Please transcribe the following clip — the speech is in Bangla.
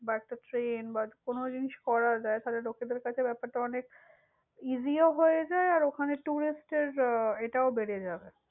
বা একটা train বা কোনো জিনিস করা যায় তাহলে লোকেদের কাছে ব্যাপার টা অনেক, easy ও হয়ে যায়, আর ওখানে tourist এ~ বেড়ে যাবে।